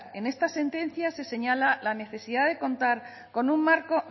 en esta sentencia se señala la necesidad de contar con un marco